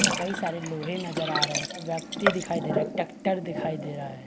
कई सारे लोहे नज़र आ रहे है व्यक्ति दिखाई दे रहे है टैक्टर दिखाई दे रहा है।